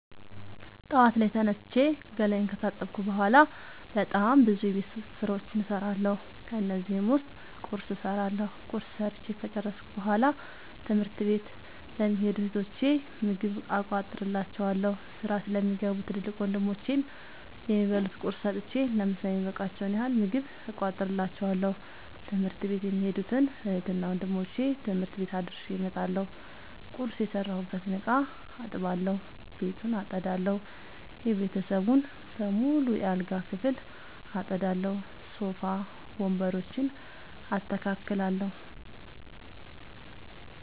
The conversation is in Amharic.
ጠዋት ላይ ተነስቼ ገላየን ከታጠብኩ በሗላ በጣም ብዙ የቤት ዉስጥ ስራዎችን እሠራለሁ። ከነዚህም ዉስጥ ቁርስ እሠራለሁ። ቁርስ ሠርቸ ከጨረሥኩ በሗላ ትምህርት ለሚኸዱ እህቶቸ ምግብ እቋጥርላቸዋለሁ። ስራ ለሚገቡ ትልቅ ወንድሞቼም የሚበሉት ቁርስ ሰጥቸ ለምሣ የሚበቃቸዉን ያህል ምግብ እቋጥርላቸዋለሁ። ትምህርት ቤት የሚኸዱትን እህትና ወንድሞቼ ትምህርት ቤት አድርሼ እመጣለሁ። ቁርስ የሰራሁበትን እቃ አጥባለሁ። ቤቱን አጠዳለሁ። የቤተሰቡን በሙሉ የአልጋ ክፍል አጠዳለሁ። ሶፋ ወንበሮችን አስተካክላለሁ።